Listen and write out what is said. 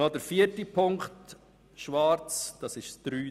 Und noch zu Planungserklärung 4 Leitsatz 3d,